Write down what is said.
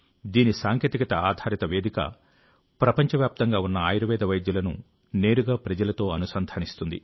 దీని సాంకేతికత ఆధారిత వేదిక ప్రపంచవ్యాప్తంగా ఉన్న ఆయుర్వేద వైద్యులను నేరుగా ప్రజలతో అనుసంధానిస్తుంది